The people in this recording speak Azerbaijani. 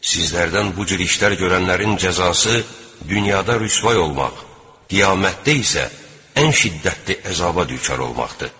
Sizlərdən bu cür işlər görənlərin cəzası dünyada rüsvay olmaq, qiyamətdə isə ən şiddətli əzaba düçar olmaqdır.